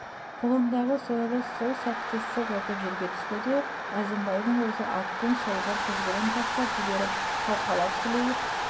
қолындағы сойылы сол сәтте сылқ етіп жерге түсті де әзімбайдың өзі аттың шылбыр тізгінін тастап жіберіп шалқалап сілейіп